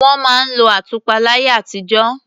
Wọ́n máa ń lo àtùpà láyé àtijó.